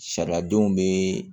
Sariya denw bɛ